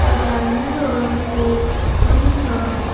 एउटा नीलो रङ्गको पनि छ।